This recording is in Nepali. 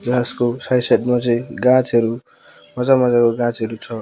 को साइड साइड मा चाहिँ गाँचहरू मजा मजाको गाँचहरू छ।